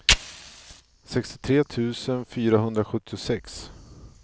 sextiotre tusen fyrahundrasjuttiosex